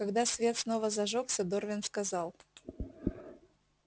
когда свет снова зажёгся дорвин сказал